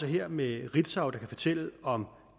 her med et ritzautelegram